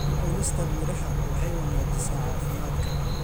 Cunista miraha waxay wanaajisaa caafimaadka.